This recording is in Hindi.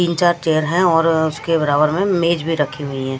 तीन चार चेयर हैं और उसके बराबर में मेज भी रखी हुई हैं।